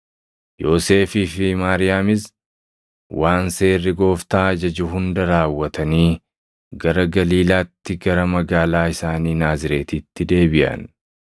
Yoosefii fi Maariyaamis waan seerri Gooftaa ajaju hunda raawwatanii gara Galiilaatti gara magaalaa isaanii Naazreetitti deebiʼan.